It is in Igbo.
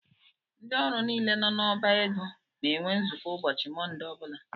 Ndị ọrụ niile nọ na ọbá égo na - enwe nzukọ ụbọchị Monde ọbula.